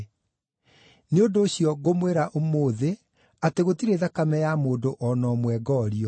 Nĩ ũndũ ũcio, ngũmwĩra ũmũthĩ atĩ gũtirĩ thakame ya mũndũ o na ũmwe ngoorio.